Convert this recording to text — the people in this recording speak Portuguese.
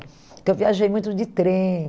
Então eu viajei muito de trem.